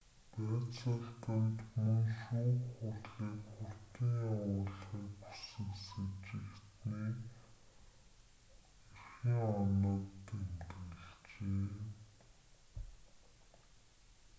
байцаалтанд мөн шүүх хурлыг хурдан явуулахыг хүсэх сэжигтэний эрхийн огноог тэмдэглэжээ